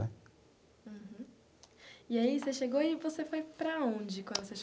Uhum e aí você chegou e você foi para onde quando você chegou?